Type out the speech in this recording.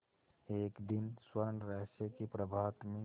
एक दिन स्वर्णरहस्य के प्रभात में